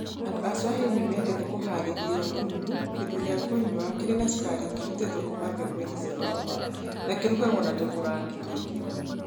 Andũ a Swahili nĩ mendete kũhaarĩria mbuyu, kĩndũ gĩa kũnyua kĩrĩ na cukari kĩrutĩtwo kuuma mbegũ-inĩ cia baobab, na kĩguragio na tũkũrangi tũingĩ.